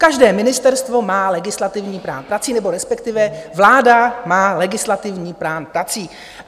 Každé ministerstvo má legislativní plán prací, nebo respektive vláda má legislativní plán prací.